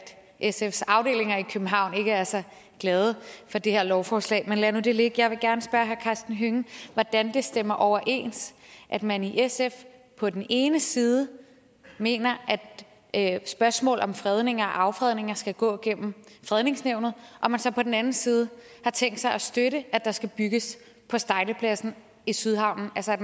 sfs afdelinger i københavn ikke er så glade for det her lovforslag men lad nu det ligge jeg vil gerne spørge herre karsten hønge hvordan det stemmer overens at man i sf på den ene side mener at spørgsmålet om fredninger og affredninger skal gå gennem fredningsnævnet og at man så på den anden side har tænkt sig at støtte at der skal bygges på stejlepladsen i sydhavnen altså at